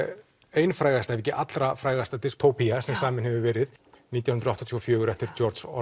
ein frægasta ef ekki allra frægasta sem samið hefur verið nítján hundruð áttatíu og fjögur eftir